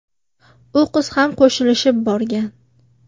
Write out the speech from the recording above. U qiz ham qo‘shilishib borgan.